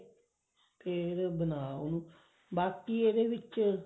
ਫ਼ੇਰ ਬਣਾ ਉਹਨੂੰ bake ਇਹਦੇ ਵਿੱਚ